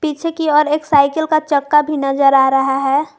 पीछे की ओर एक साइकिल का चक्का भी नजर आ रहा है।